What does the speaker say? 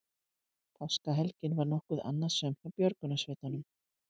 Páskahelgin var nokkuð annasöm hjá björgunarsveitum